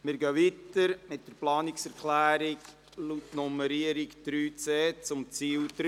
Wir kommen zu Planungserklärung 3.c zu Ziel 3.